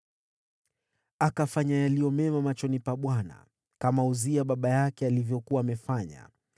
Akafanya yaliyo mema machoni pa Bwana , kama Uzia baba yake alivyokuwa amefanya.